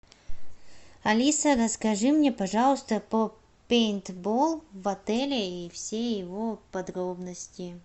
алиса расскажи мне пожалуйста про пейнтбол в отеле и все его подробности